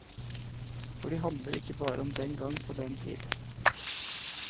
For de handler ikke bare om den gang og den tid.